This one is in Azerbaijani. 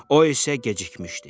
O isə gecikmişdi.